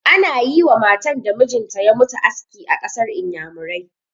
Ana yi wa matan da mijin ta ya mutu aski a ƙasar Inyamurai.